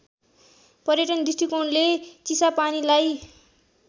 पर्यटन दृष्टिकोणले चिसापानीलाई